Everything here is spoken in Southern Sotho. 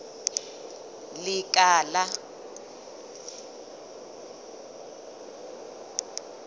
lekala